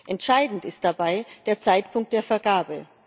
Entscheidend ist dabei der Zeitpunkt der Vergabe.